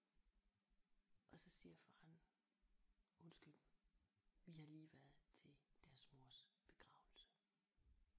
Og så siger faren undskyld vi har lige været til deres mors begravelse